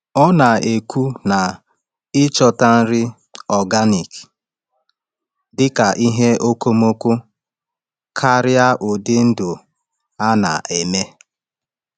Ọ na-ekwu na ịchọta nri organic dị ka ihe okomoko karịa ụdị ndụ a na-eme.